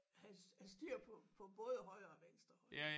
Have have styr på på både højre og venstre hånd